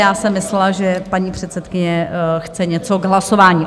Já jsem myslela, že paní předsedkyně chce něco k hlasování.